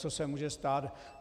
Leccos se může stát.